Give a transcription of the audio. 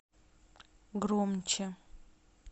громче